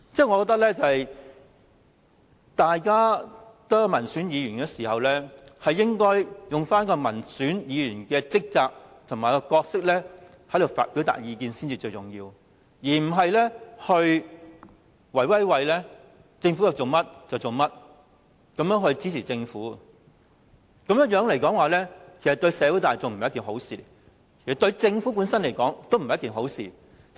我覺得大家同為民選議員，應該用民選議員的職責和角色表達意見才重要，而不是政府要做甚麼議員便盲目支持政府，這樣對社會大眾和政府本身也不是好事。